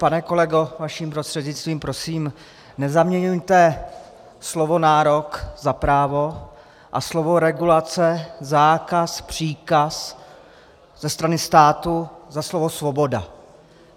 Pane kolego vaším prostřednictvím, prosím, nezaměňujte slovo nárok za právo a slovo regulace, zákaz, příkaz ze strany státu za slovo svoboda.